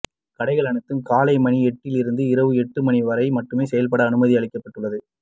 கடைகள் அனைத்தும் காலை மணி எட்டிலிருந்து இரவு மணி எட்டு வரை மட்டுமே செயல்பட அனுமதி அளிக்கப்பட்டுள்ளது